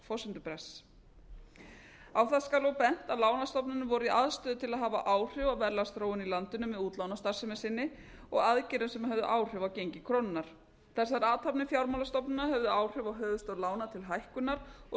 forsendubrests á skal og bent að lánastofnanir voru í aðstoð til að hafa áhrif á verðlagsþróun í landinu með útlánastarfsemi sinni og aðgerðum sem höfðu áhrif á gengi krónunnar þær athafnir fjármálastofnana höfðu áhrif á höfuðstól lána til hækkunar og